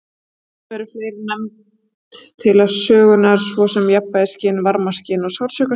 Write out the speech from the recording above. Stundum eru fleiri nefnd til sögunar, svo sem jafnvægisskyn, varmaskyn og sársaukaskyn.